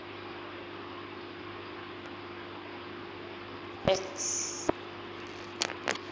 elifanele ngo x